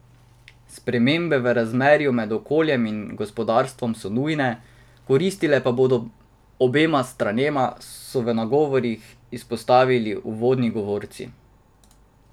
Spremembe v razmerju med okoljem in gospodarstvom so nujne, koristile pa bodo obema stranema, so v nagovorih izpostavili uvodni govorci.